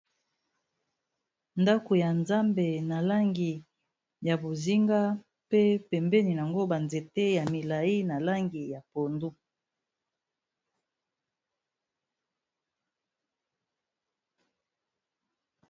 ndako ya nzambe na langi ya bozinga pe pembeni yango banzete ya milai na langi ya pondu